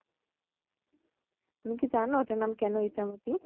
তুমি কি জানো এটার নাম কেন ইচ্ছামতি?